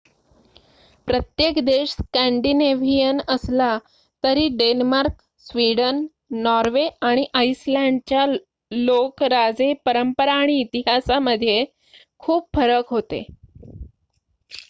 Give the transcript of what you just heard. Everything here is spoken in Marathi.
प्रत्येक देश स्कॅन्डिनेव्हियन' असला तरी डेन्मार्क स्वीडन नॉर्वे आणि आइसलँडच्या लोक राजे परंपरा आणि इतिहासामध्ये खूप फरक होते